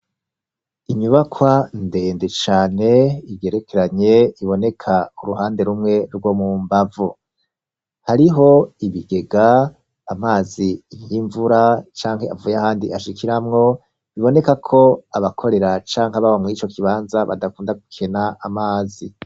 Inyubakwa ndende cane, igerekeranye, iboneka ku ruhande rumwe rwo mu mbavu; hariho ibigega, amazi y'imvura, canke avuye ahandi ashikiramwo, biboneka ko abakorera, canke ababa muri ico kibanza, badakunda gukena amazi.